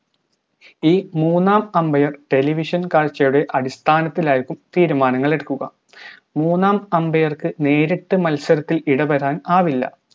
മൂന്നാം umbair television കാഴ്ചയുടെ അടിസ്ഥാനത്തിലായിരിക്കും തീരുമാനങ്ങളെടുക്കുക മൂന്നാം umbair ക്ക് നേരിട്ട് മത്സരത്തിൽ ഇടപെടാൻ ആവില്ല